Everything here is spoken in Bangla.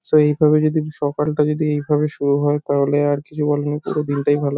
সো এইভাবে যদি সকালটা যদি এইভাবে শুরু হয় তাহলে আর কিছু বলার নেই পুরো দিনটাই ভালো ।